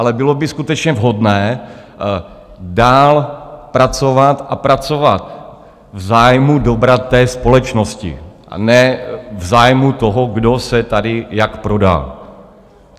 Ale bylo by skutečně vhodné dál pracovat a pracovat v zájmu dobra společnosti, a ne v zájmu toho, kdo se tady jak prodá.